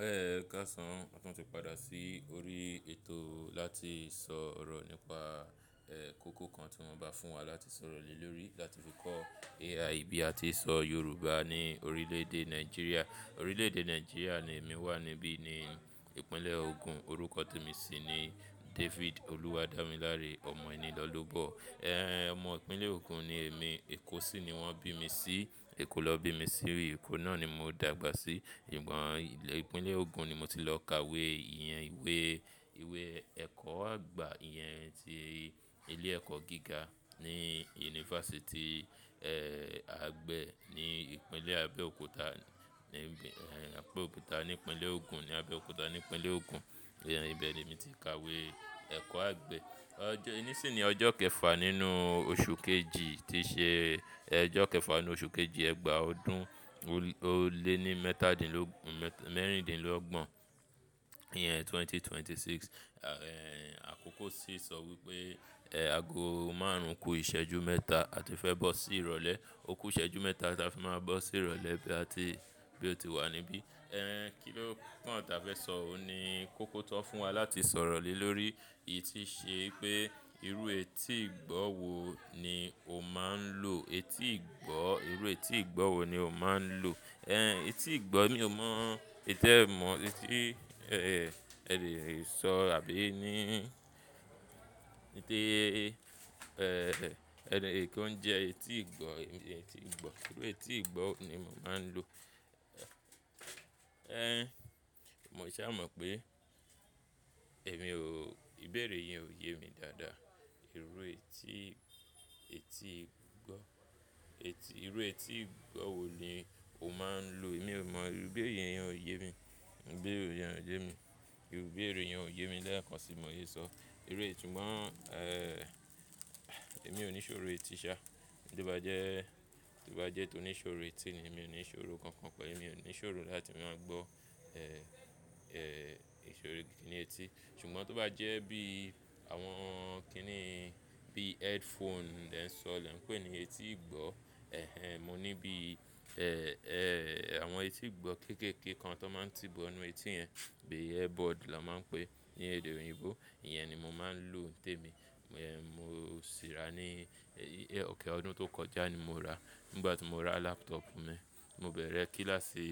Ẹ̀ka sán, à tun ti padà sí orí ètò láti sọ̀rọ̀ nípá ẹ̀ kókó kan tí wọ́n bá fún wà láti sọ̀rọ̀ lé lórí, láti fi kọ́ Ai bí a ti ń sọ Yorùbá ní orílẹ̀-èdè Nàìjíríà. Orílẹ̀-èdè Nàìjíríà ni èmi wà níbí ní ìpínlè̀ Ògùn. Orúkọ tí ẹmi sì ní David Olúwadamílàré, ọmọ ènìlóbò. Ẹ̀, ọmọ ìpínlè̀ Ògùn ni èmi. Èkó sì ni wọ́n bí mi sí. Èkó lọ bí mi sí rí. Èkó náà ni mò ń dagbà sí. Sugbon ìpínlè Ògùn ni mó ti lọ kàwé ìyẹn ìwé. Ìwé ẹ̀kọ́ àgbà ìyẹn tí ilé ẹ̀kọ́ gíga ní unifásitì, ẹ́, àgbẹ̀ ní ìpínlè́ Abẹ́òkúta, ní Abẹ́òkúta ní ìpínlè Ògùn, ní Abẹ́òkúta ní ìpínlè Ògùn. Ìyẹn ibẹ̀ nì ẹmi ti kàwé ẹ̀kọ́ àgbẹ̀. Ọjọ́, nísìnyí ọjọ́ kẹfà nínú oṣù kẹjì tí ṣè ọjọ́ kẹfà nínú oṣù kẹjì ẹgbàá ọdún ò lé ní mẹ́tàdínlógun, mẹ́rìndínló gbòó. Ìyẹn ẹgbẹ̀rún méjì ó lé mẹ́rìndínlọ́gbọ̀n. Ẹ̀, àkókò sì ń sọ wípé ẹ̀ aago márùn-ún kù ìṣẹ́jú mẹ́tà á ti fẹ́ bọ́ sí ìrọ̀lẹ́. O kú ìṣẹ́jú mẹ́tà á ti máa bọ́ sí ìrọ̀lẹ́ bí á ti, bí ó ti wà níbí. Ẹ̀, kíló pọ̀n tà bá fẹ́ sọ? Ó ni kókó tọ́ fún wà láti sọ̀rọ̀ lé lórí. Èyí tí ṣe pé irú etí ìgbọ́ wò ni ò máa ń lò? Etí ìgbọ́, irú etí ìgbọ́ wò ni ò máa ń lò? Ẹ̀, etí ìgbọ́ mí ò mọ. Ètẹ́ mọ̀, ètì, ẹ́, ẹ lè sọ àbí ní, níté ẹ́, ẹni, ènìkan ń jẹ etí ìgbọ́, etí ìgbọ́. Irú etí ìgbọ́ wò ni mo máa ń lò? Ẹ̀, mò ì ṣà mọ̀ pé èmi ò, ìbéèrè yẹn ò yé mi dáadáa. Irú etí, etí gbọ́, etí, irú etí ìgbọ́ wò ni ò máa ń lò? Èmi ò mọ. Ìbéèrè yẹn ò yé mi. Ìbéèrè yẹn ò yé mi. Ìbéèrè yẹn ò yé mi lẹ́ẹ́kán bi mosé sọ. Irutí súgbọ̀n, ẹ́, èmi ò ní ìṣòrò etí ṣá. Bí ó bá jẹ́, bí ó bá jẹ́ tó ní ìṣòrò etí ni, èmi ò ní ìṣòrò kankan kọ́. Èmi ò ní ìṣòrò láti má gbọ́, ẹ́, ẹ́, ìṣòrò gidi ní etí. Sùgbọ́n tí ó bá jẹ́ bí àwọn kínì bí headphone lẹ̀ ń sọ̀ lẹ̀ ń pè ní etí gbọ́. Ẹ̀hẹn, mó ní bí, ẹ́, ẹ́, àwọn etí gbọ́ kékèké kan tí wọ́n máa ń tì bò ọ́ ní etí yẹn. Bi earbud lọ máa ń pè ní èdè oyinbo. Ìyẹn ni mo máa ń lò té mi. Ẹ̀, mó ṣì rà ní, ẹ́, ọ̀kẹ́ ọdún tó kọjá ni mò rà. Nígbà tí mò rà laptop mi, mó bẹ̀rẹ̀ kíláàsì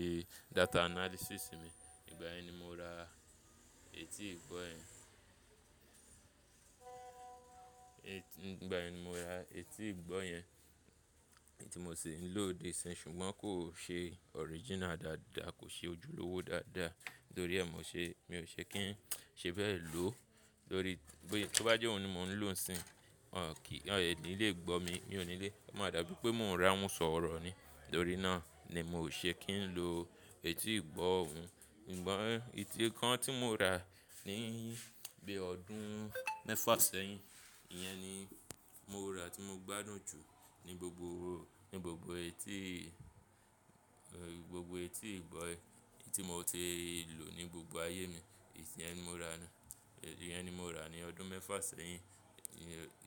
data analysis mi. Nígbà ẹni mo rà etí gbọ́ yẹn. Nígbà yen mo rà etí gbọ́ yẹn. Ti mò ṣì ń lò dé sin. Sùgbọ́n kò ṣé original dáadáa, kò ṣé ojùlówó dáadáa. Nítórí ẹ mọ̀ ṣé, mí ò ṣé kín ṣe bẹ́ẹ̀ lò. Lórí, bí, bí ó bá jẹ́ òun ni mò ń lò sin, wọ́n kì, ẹ̀ ni lé gbọ mi. Mí ò ní lè. O màa dà bí pé mò ń rán un sọ̀rọ̀ ni. Lórí náà ni mò ṣé kín lò etí gbọ́ òun. Sùgbọ́n etí kan tí mo rà ní, bi ọdún mẹ́fà sẹyìn. Ìyẹn ni mo rà tí mó gbádùn jù ní gbogbo, ní gbogbo etí, ẹ́, gbogbo etí gbọ́ ti mò tí lò ní gbogbo ayé mi. Íyẹn ni mo rà ni. Íyẹn ni mo rà ní ọdún mẹ́fà sẹyìn.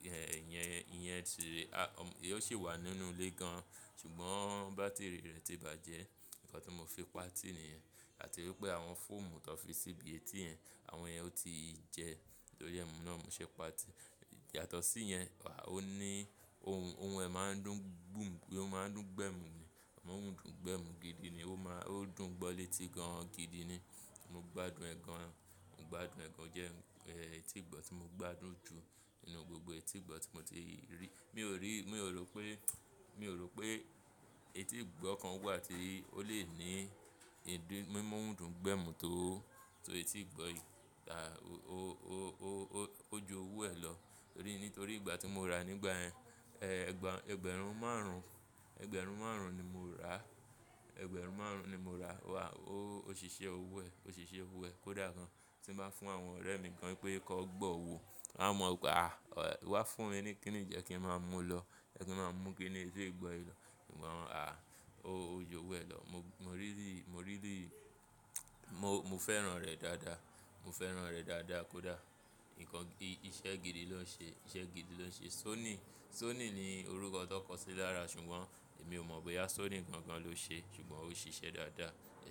Ìyẹn, ìyẹn ti rí, á, ó ṣì wà nínú ilé gan. Sùgbọ́n bátìrì rẹ̀ ti bàjẹ́. Ǹkan tí mó fi pa tì nìyẹn. Áti wí pé àwọn fóòmù tí wọ́n fi sí bí etí yẹn, àwọn yẹn ò tíi jẹ. Tórí ẹ́ mọ̀ náà mò ṣé pa tì. Yàtọ̀ sí yẹn, wà ó ní, ohun, ohun ẹ máa ń dùn gbù, ó máa ń dùn gbẹ̀mù ni. Imoun ń dùn gbẹ̀mù gidi ni. Ó máa, ó dùn gbọ́ létí gan gidi ni. Mó gbádùn ẹ̀ gan. Mó gbádùn ẹ̀ gan jẹ́, ẹ́, etí ìgbọ́ tí mó gbádùn jù nínú gbogbo etí ìgbọ́ tí mò tí rí. Mí ò rí, mí ò rò pé, mí ò rò pé etí gbọ́ kan wà tí ó lè ní ìdí, mímu oun dùn gbẹ̀mù tó, tó etí ìgbọ́ ì, à, ó, ó, ó, ó, ó jú owó ẹ lọ. Nítórí ìgbà tí mo rà nígbà ẹ́, ẹ́, ẹgbẹ̀rún márùn-ún, ẹgbẹ̀rún márùn-ún ni mo rà. Ẹgbẹ̀rún márùn-ún ni mo rà. Wà ó, òṣìṣẹ́ owó ẹ, òṣìṣẹ́ owó ẹ kódà kan ti bá fún àwọn ọ̀rẹ́ mí kan pé "kọ́ gbọ́ wò". Won mọ̀ pé, à, "wá fún ni, kínì yii kí ń máa mú lọ? Jẹ́ kí ń máa mú kíni etí gbọ́ yìí lọ". Sùgbọ́n, à, ó jú owó ẹ lọ. Mó really, mó really, mó, mo fẹ́ràn rẹ̀ dáadáa. Mó fẹ́ràn rẹ̀ dáadáa kódà. Ǹkan, iṣẹ́ gidi lọ ṣé, iṣẹ́ gidi lọ ṣé. Sony, Sony ni orúkọ tó kọ́ sí lára sùgbọ́n èmi ò mọ̀ bóyá Sony gan-an ló ṣé. Sùgbọ́n ó ṣiṣẹ́ dáadáa. Ẹ̀